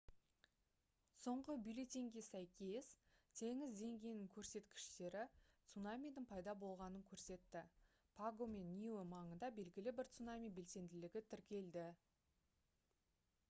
соңғы бюллетеньге сәйкес теңіз деңгейінің көрсеткіштері цунамидің пайда болғанын көрсетті паго мен ниуэ маңында белгілі бір цунами белсенділігі тіркелді